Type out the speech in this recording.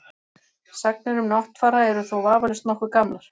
Sagnir um Náttfara eru þó vafalaust nokkuð gamlar.